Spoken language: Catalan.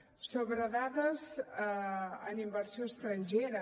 sobre dades en inversió estrangera